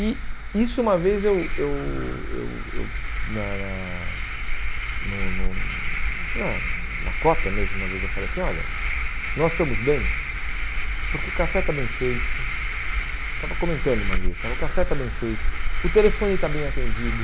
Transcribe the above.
E isso uma vez eu eu eu eu, na na no no acho na na cota mesmo, uma vez eu falei assim, olha, nós estamos bem porque o café está bem feito, estava comentando uma vez, o café está bem feito, o telefone está bem atendido.